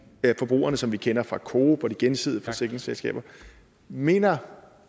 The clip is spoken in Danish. af forbrugerne som vi kender fra coop og de gensidige forsikringsselskaber mener